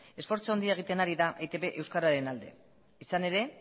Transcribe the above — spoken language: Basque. esfortzu handia egiten ari da etb euskararen alde izan ere